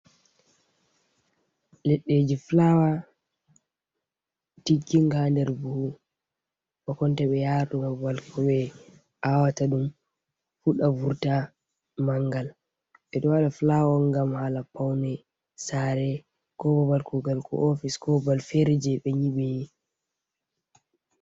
Leɗɗeji fulawa tigginga nder buhu bakonta ɓe yara ɗum babal ko ɓe aawata ɗum fuɗa vurta mangal, ɓe ɗo waɗa fulawa on ngam hala paune saare ko bo babal kugal ko ofis ko babal fere jei ɓe nyiɓi.